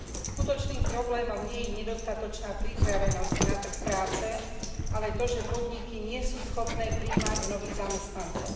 Skutočným problémom nie je nedostatočná pripravenosť na trh práce, ale to, že podniky nie sú schopné prijímať nových zamestnancov.